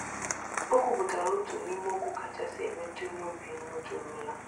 O kwupụtara otu n’ime okwu kachasị emetụ n’obi m nụtụrụla.